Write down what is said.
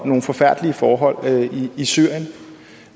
nogle forfærdelige forhold i syrien